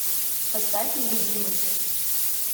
поставь нелюбимый